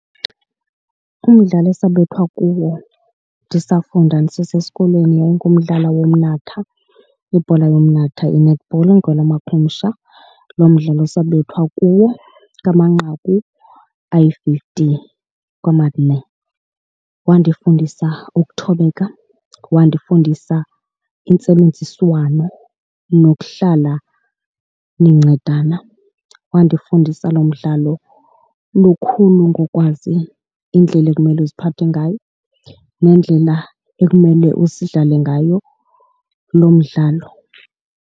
Umdlalo esabethwa kuwo ndisafunda ndisesesikolweni yayingumdlalo womnatha, ibhola yomnatha i-netball ngelamakhumsha. Lo mdlalo sabethwa kuwo ngamanqaku ayi-fifty kwamane. Wandifundisa ukuthobeka, wandifundisa intsebenziswano nokuhlala nincedana. Wandifundisa loo mdlalo lukhulu ngokwazi indlela ekumele uziphathe ngayo nendlela ekumele sidlale ngayo lo mdlalo.